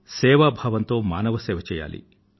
శివ భావంతో మానవ సేవ చెయ్యాలి